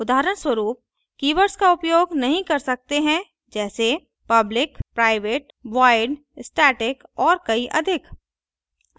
उदाहरणस्वरूप : keywords का उपयोग नहीं कर सकते हैं जैसे public private void static और कई अधिक